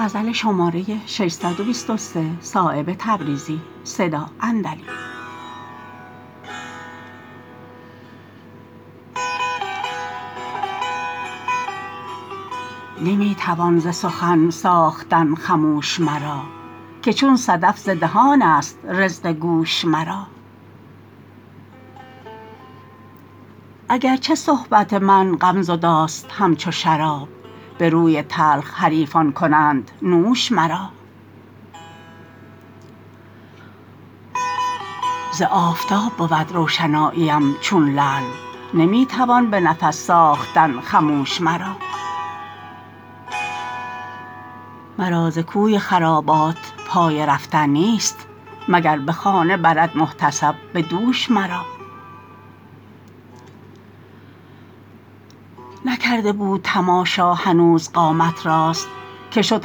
نمی توان ز سخن ساختن خموش مرا که چون صدف ز دهان است رزق گوش مرا اگر چه صحبت من غم زداست همچو شراب به روی تلخ حریفان کنند نوش مرا ز آفتاب بود روشناییم چون لعل نمی توان به نفس ساختن خموش مرا مرا ز کوی خرابات پای رفتن نیست مگر به خانه برد محتسب به دوش مرا نکرده بود تماشا هنوز قامت راست که شد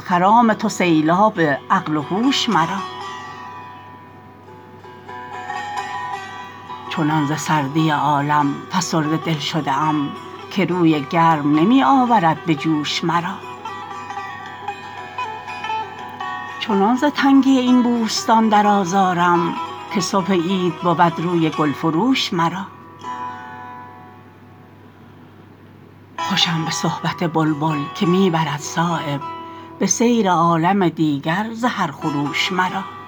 خرام تو سیلاب عقل و هوش مرا چنان ز سردی عالم فسرده دل شده ام که روی گرم نمی آورد به جوش مرا چنان ز تنگی این بوستان در آزارم که صبح عید بود روی گلفروش مرا خوشم به صحبت بلبل که می برد صایب به سیر عالم دیگر ز هر خروش مرا